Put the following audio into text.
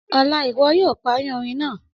Ọla, iwọ yoo pari orin naa!